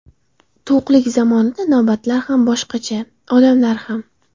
To‘qlik zamonida navbatlar ham boshqacha, odamlar ham.